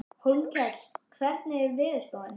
Hólmkell, hvernig er veðurspáin?